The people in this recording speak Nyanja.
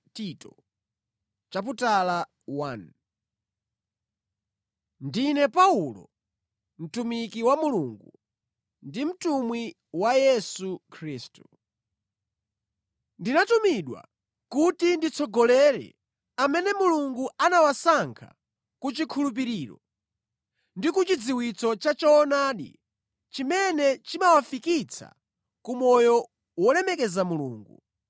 Ndine Paulo, mtumiki wa Mulungu, ndi mtumwi wa Yesu Khristu. Ndinatumidwa kuti nditsogolere amene Mulungu anawasankha ku chikhulupiriro ndi ku chidziwitso cha choonadi chimene chimawafikitsa ku moyo wolemekeza Mulungu